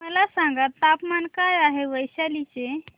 मला सांगा तापमान काय आहे वैशाली चे